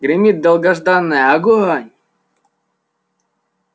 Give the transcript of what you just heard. гремит долгожданное огонь